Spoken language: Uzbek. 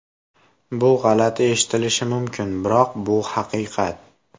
Bu g‘alati eshitilishi mumkin, biroq bu haqiqat.